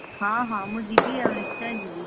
ହଁ ହଁ ମୁଁ ଯିବି ଆଉ ନିଶ୍ଚୟ ଯିବି!